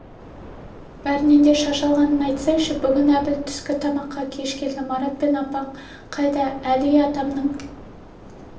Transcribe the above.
бәрінен де шаш алғанын айтсайшы бүгін әбіл түскі тамаққа кеш келді марат апаң қайда әли атамның